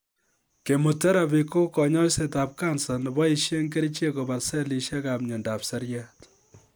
Chemotherapy ko kanyoisetab cancer neboishe kerichek kobar selishekab miondop seriat